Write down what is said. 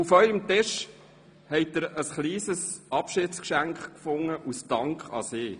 Auf Ihren Tischen haben Sie ein kleines Abschiedsgeschenk vorgefunden, als Dankeschön an Sie: